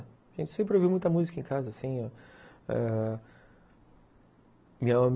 A gente sempre ouve muita música em casa, sim, ãh